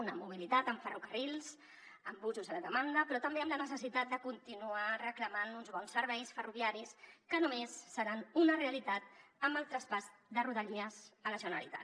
una mobilitat amb ferrocarrils amb busos a demanda però també amb la necessitat de continuar reclamant uns bons serveis ferroviaris que només seran una realitat amb el traspàs de rodalies a la generalitat